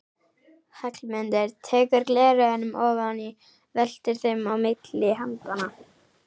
Hallmundur tekur gleraugun ofan og veltir þeim á milli handanna.